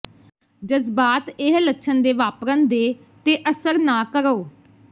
ਜਜ਼ਬਾਤ ਇਹ ਲੱਛਣ ਦੇ ਵਾਪਰਨ ਦੇ ਤੇ ਅਸਰ ਨਾ ਕਰੋ